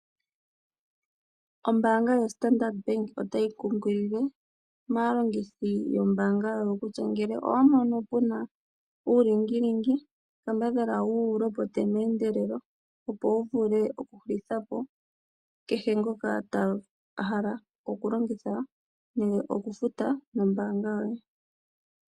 Ombaanga yoStandard Bank otayi kunkilile maalongithi yombaanga yawo kutya ngele owa mono pu na uulingilingi kambadhala wu lopote meendelelo opo wu vule okuhulitha po kehe ngoka a hala okulongitha nenge okufuta nombaanga yoye.